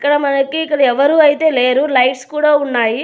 ఇక్కడ మనకి ఇక్కడ ఎవ్వరు అయితే లేరు లైట్స్ కూడా ఉన్నాయి.